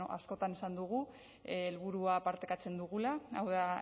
askotan esan dugu helburua partekatzen dugula hau da